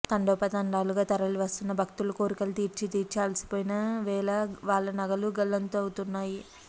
తండోపతండాలుగా తరలి వస్తున్న భక్తులు కోర్కెలు తీర్చీతీర్చీ అలసిపోయిన వేళ వాళ్ల నగలు గల్లంతవుతున్నాయి